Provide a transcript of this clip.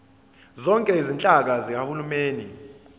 zonke izinhlaka zikahulumeni